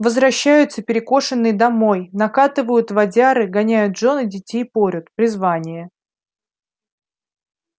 возвращаются перекошеннй домой накатывают водяры гоняют жён и детей порют призвание